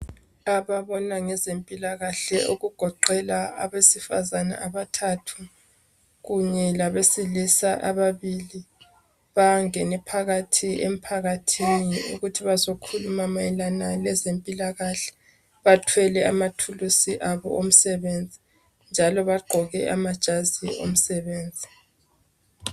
Ababona ngezempilakahle. Okugoqela abesifazana abathathu, kunye labesilisa ababili. Bangene phakathi emphakathini, ukuthi bazokhuluma mayelana lezempilakahle, Bathwele amathulusi abo omsebenzi, njalo bagqoke amajazi omsebenzi .